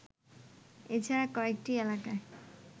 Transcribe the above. এছাড়া কয়েকটি এলাকায়